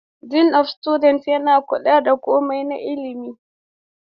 Dean of Studies yana kula da komai na ilimi